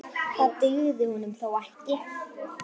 Það dugði honum þó ekki.